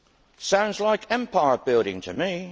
It sounds like empire building to me.